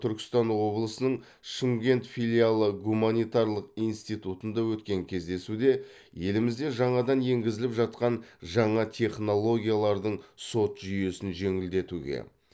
түркістан облысының шымкент филиалы гуманитарлық институтында өткен кездесуде елімізде жаңадан еңгізіліп жатқан жаңа технологиялардың сот жүйесін жеңілдетуге